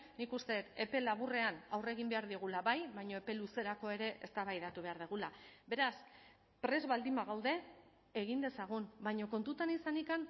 nik uste dut epe laburrean aurre egin behar diogula bai baina epe luzerako ere eztabaidatu behar dugula beraz prest baldin bagaude egin dezagun baina kontutan izanik